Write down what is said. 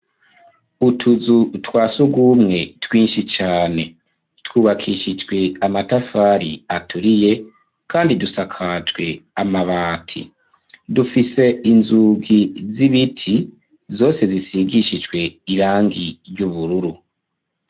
Utuzu twa surwumwe, twinshi cane; twubakishijwe amatafari, aturiye, kandi dusakajwe amabati; dufise inzugi z'ibiti, zose zisigishijwe irangi, ry'ubururu.